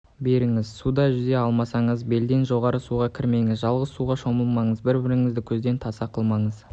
беріңіз суда жүзе алмасаңыз белден жоғары суға кірмеңіз жалғыз суға шомылмаңыз бір-біріңізді көзден таса қылмаңыз